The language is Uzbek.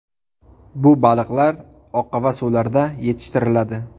Bu baliqlar oqova suvlarda yetishtiriladi.